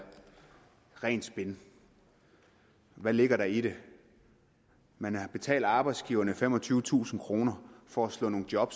rent spin hvad ligger der i det man har betalt arbejdsgiverne femogtyvetusind kroner for at slå nogle job